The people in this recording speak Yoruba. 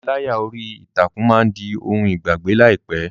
Ìpániláyà orí ìtàkùn máa di ohun ìgbàgbé láìpẹ́.